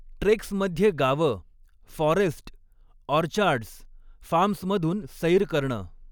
ट्रेक्समध्ये गावं, forest, orchards, फार्मस्मधून सैर करणं.